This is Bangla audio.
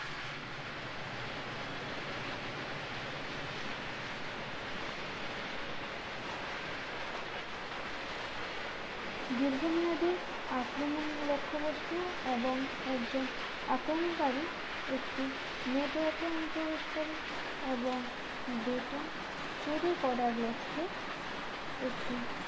দীর্ঘমেয়াদি আক্রমণ লক্ষ্যবস্তু এবং একজন আক্রমণকারী একটি network এ অনুপ্রবেশ করে এবং data চুরি করার লক্ষ্যে একটি